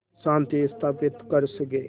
शांति स्थापित कर सकें